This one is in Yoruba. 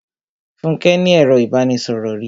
Fúnke ní ẹro ìbánisọ̀rò rí.